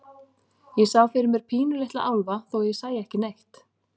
Ég sá fyrir mér pínulitla álfa, þó að ég sæi ekki neitt.